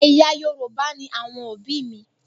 Ẹ̀yà Yorùbá ni àwọn òbí mi.